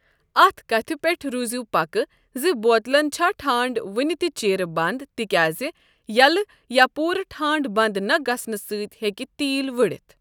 اَتھ کَتھِ پیٹھ روٗزِو پَکہِ زِ بۄتلَن چھَا ٹھانٛڈٕ وُنہِ تہِ چِرٕ بنٛد تِکیٛازِ یَلہٕ یا پوٗرٕ ٹھانٛڈٕ بنٛد نَہ گژھنہٕ سۭتۍ ہٮ۪کہِ تیٖل ؤڑِتھ۔